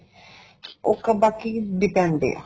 ਉਹ ਤਾਂ ਬਾਕੀ depend ਆ